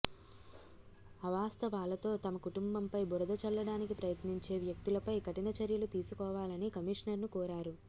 అవాస్తవాలతో తమ కుటుంబంపై బురద చల్లడానికి ప్రయత్నించే వ్యక్తులపై కఠిన చర్యలు తీసుకోవాలని కమిషనర్ను కోరారు